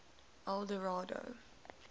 eldorado